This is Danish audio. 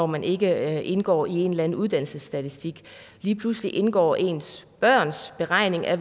man ikke indgår i en eller anden uddannelsesstatistik lige pludselig indgår ens børns beregning af